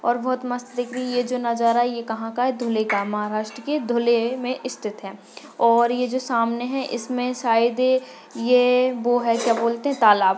और बहुत मस्त दिख रही है ये जो नज़ारा है ये कहा का है धुले का महाराष्ट्र के धुले मे इसथित है और ए जो सामने है इसमे शायद है ए वो है क्या बोलते है तालाब.